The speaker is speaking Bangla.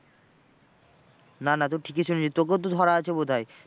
না না তুই ঠিকই শুনেছিস তোকেও তো ধরা আছে বোধ হয়।